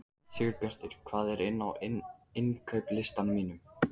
Sigurbjartur, hvað er á innkaupalistanum mínum?